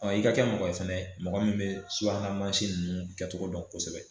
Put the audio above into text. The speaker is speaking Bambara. i ka kɛ mɔgɔ ye fɛnɛ mɔgɔ min bɛ subahana mansi ninnu kɛcogo dɔn kosɛbɛ